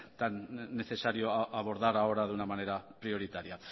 tan necesario abordar ahora de una manera prioritaria